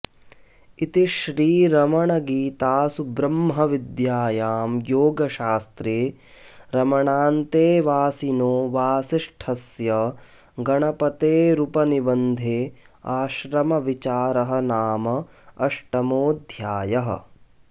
इति श्रीरमणगीतासु ब्रह्मविद्यायां योगशास्त्रे रमणान्तेवासिनो वासिष्ठस्य गणपतेरुपनिबन्धे आश्रमविचारः नाम अष्टमोऽध्यायः